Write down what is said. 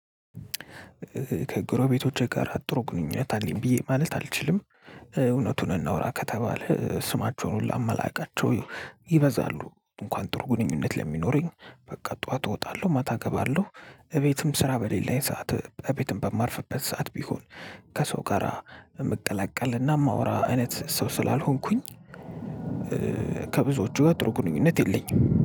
ከጎረቤቶቼ ጋራ ጥሩ ግንኙነት አለኝ ብዬ ማለት አልችልም እውነቱን እናውራ ከተባለ ስማቸውን ሁላ እማላቃቸው ይበዛሉ እንኳን ጥሩ ግንኙነት ለሚኖረኝ በቃ ጠዋት እወጣለሁ ማታ እገባለሁ እቤትም ስራ በሌለኝ ሰዓት እቤትም በማርፍበት ሰዓት ቢሆን ከሰው ጋራ እምቀላቀልና እማወራ አይነት ሰው ስላልሆንኩኝ። ከብዙዎቹ ጋር ጥሩ ግንኙነት የለኝም።